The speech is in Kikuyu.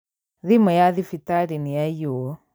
Thimũ ya thibitarĩ nĩyaiyo